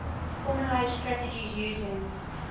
formalised strategies using